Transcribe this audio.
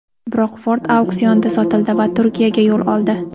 Biroq Ford auksionda sotildi va Turkiyaga yo‘l oldi.